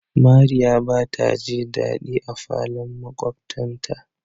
Mariya ba taji dadi a falon makwabtan ta.